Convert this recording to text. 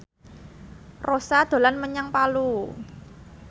Rossa dolan menyang Palu